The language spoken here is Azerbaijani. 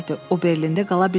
O Berlində qala bilməzdi.